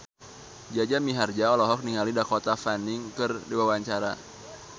Jaja Mihardja olohok ningali Dakota Fanning keur diwawancara